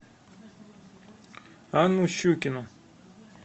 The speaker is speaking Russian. анну щукину